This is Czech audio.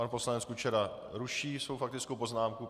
Pan poslanec Kučera ruší svou faktickou poznámku.